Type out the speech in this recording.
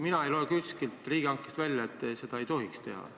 Mina ei loe kuskilt riigihanget käsitlevast seadustikust välja, et seda ei tohi teha.